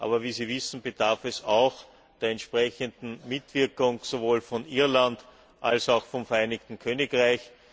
Aber wie Sie wissen, bedarf es auch der entsprechenden Mitwirkung sowohl von Irland als auch vom Vereinigten Königreich.